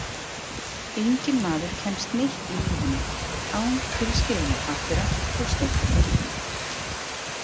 Enginn maður kemst neitt í lífinu án tilskilinna pappíra og stimpla frá ríkinu.